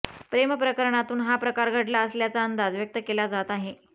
प्रेमप्रकरणातून हा प्रकार घडला असल्याचा अंदाज व्यक्त केला जात आहे